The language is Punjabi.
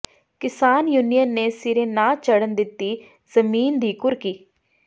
ਕਿਸਾਨ ਯੂਨੀਅਨ ਨੇ ਸਿਰੇ ਨਾ ਚੜ੍ਹਨ ਦਿੱਤੀ ਜ਼ਮੀਨ ਦੀ ਕੁਰਕੀ